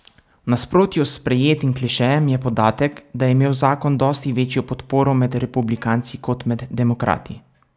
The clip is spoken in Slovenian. V nasprotju s sprejetim klišejem je podatek, da je imel zakon dosti večjo podporo med republikanci kot med demokrati.